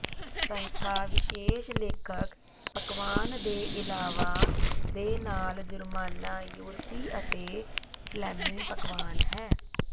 ਸੰਸਥਾ ਵਿਸ਼ੇਸ਼ ਲੇਖਕ ਪਕਵਾਨ ਦੇ ਇਲਾਵਾ ਦੇ ਨਾਲ ਜੁਰਮਾਨਾ ਯੂਰਪੀ ਅਤੇ ਫ਼ਲੈਮੀ ਪਕਵਾਨ ਹੈ